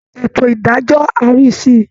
Ètò ìdájọ́ á rí sí i